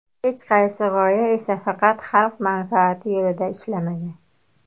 Hech qaysi g‘oya esa faqat xalq manfaati yo‘lida ishlamagan.